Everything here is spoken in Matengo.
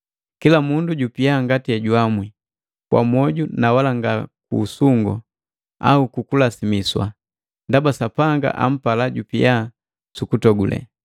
Kila mundu jupia mojuamwi, kwa moju na wala nga ku usungu au kukulasimiswa, ndaba Sapanga ampala jojupia sukutogule.